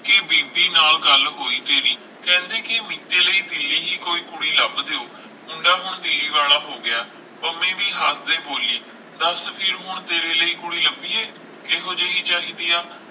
ਕਿ ਬੇਦੀ ਨਾਲ ਗੱਲ ਹੋਈ ਤੇਰੀ ਕਹਿੰਦੇ ਕਿ ਮੀਤੀ ਲਈ ਦਿੱਲੀ ਦੇ ਕੋਈ ਕੁੜੀ ਲੱਭ ਦਿਓ ਮੁੰਡਾ ਹੁਣ ਮੇਲ ਵਾਲਾ ਹੋਗਿਆ ਪੰਮੀ ਵੀ ਹੱਸਦਿਆਂ ਬੋਲੀ ਦੱਸ ਫਿਰ ਹੁਣ ਤੇਰੇ ਲਈ ਕੁੜੀ ਲੱਭੀਏ ਕਿਹੋ ਜਿਹੀ ਚਾਹੀਦੀ ਹੈ